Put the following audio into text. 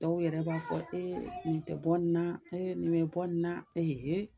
Dɔw yɛrɛ b'a fɔ nin tɛ bɔ nin na, nin mɛ bɔ nin na